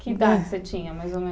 Que idade você tinha, mais ou menos?